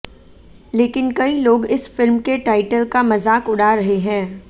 लेकिन कई लोग इस फिल्म के टाइटल का मजाक उड़ा रहे हैं